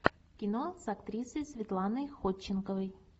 кино с актрисой светланой ходченковой